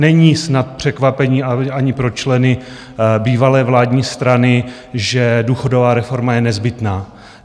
Není snad překvapením ani pro členy bývalé vládní strany, že důchodová reforma je nezbytná.